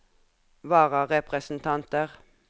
vararepresentanter